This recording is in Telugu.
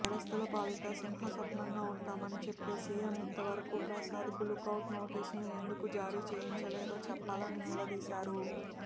నేరస్తుల పాలిట సింహస్వప్నంగా ఉంటామని చెప్పే సిఎం ఇంతవరకు ప్రసాద్కు లుకౌట్ నోటీసులను ఎందుకు జారీ చేయించలేదో చెప్పాలని నిలదీశారు